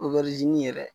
yɛrɛ